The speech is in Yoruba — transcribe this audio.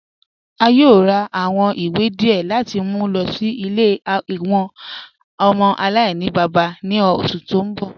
A yòò rà awọn ìwé díẹ̀ láti mú lọ sí ilẹ̀ awọn ọmọ alainibaba ní oṣù tí n bọ̀.